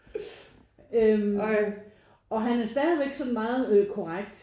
Øh og han er stadigvæk sådan meget øh ret korrekt